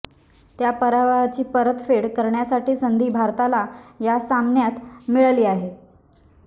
त्या पराभवाची परतफेड करण्यासाठी संधी भारताला या सामन्यात मिळाली आहे